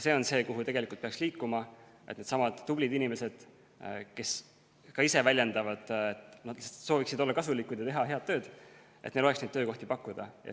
Sinnapoole peaks liikuma, et nendelesamadele tublidele inimestele, kes ka ise väljendavad seda, et nad sooviksid olla kasulikud ja teha head tööd, oleks töökohti pakkuda.